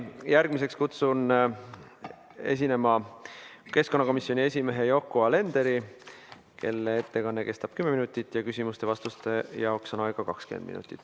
Järgmisena kutsun esinema keskkonnakomisjoni esimehe Yoko Alenderi, kelle ettekanne kestab kümme minutit, ja küsimusteks-vastusteks on aega 20 minutit.